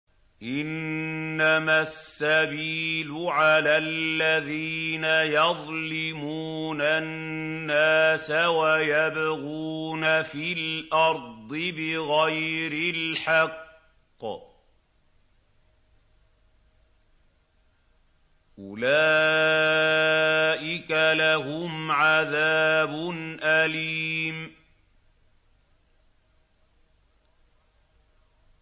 إِنَّمَا السَّبِيلُ عَلَى الَّذِينَ يَظْلِمُونَ النَّاسَ وَيَبْغُونَ فِي الْأَرْضِ بِغَيْرِ الْحَقِّ ۚ أُولَٰئِكَ لَهُمْ عَذَابٌ أَلِيمٌ